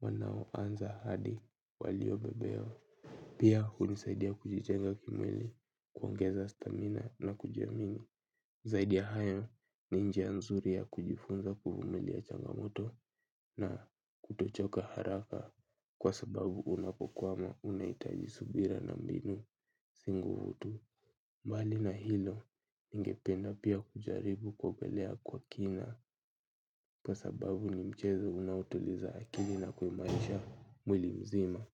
wanaoanza hadi waliobobea pia hunisaidia kujijenga kimwili kuongeza stamina na kujiamini zaidi ya hayo ni njia nzuri ya kujifunza kuvumilia changamoto na kutochoka haraka kwa sababu unapokwama unahitaji subira na mbinu si nguvu tu. Mbali na hilo ningependa pia kujaribu kuogelea kwa kina. Kwa sababu ni mchezo unaotuliza akili na kuimarisha mwili mzima.